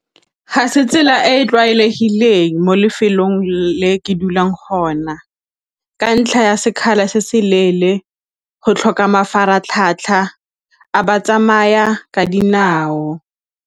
Ga se tsela e e tlwaelegileng mo lefelong le ke dulang ka ntlha ya sekgala se se leele, go tlhoka mafaratlhatlha a batsamaya ka dinao.